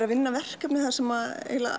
að vinna verkefni þar sem